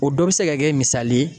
O dɔ bɛ se ka kɛ misali ye